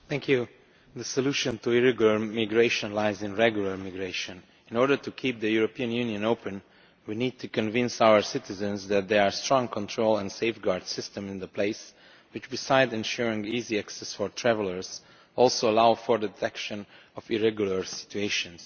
Mr President, the solution to irregular migration lies in regular migration. In order to keep the European Union open, we need to convince our citizens that there are strong control and safeguard systems in place, which, besides ensuring easy access for travellers, also allow for the detection of irregular situations.